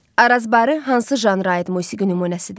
Arazbarı hansı janra aid musiqi nümunəsidir?